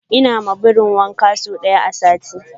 ina ma birin wanka sau daya a sati